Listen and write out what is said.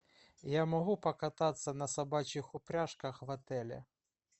я могу покататься на собачьих упряжках в отеле